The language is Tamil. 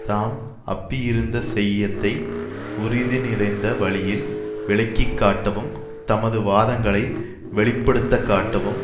தாம் அப்பியிருத்த செய்யத்தை உறிது நிறைந்த வழியில் விளக்கிக்காட்டவும் தமது வாதங்களை வெளிப்படுத்தக்காட்டவும்